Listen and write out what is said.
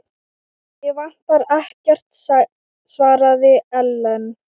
Mig vantar ekkert, svaraði Ellen.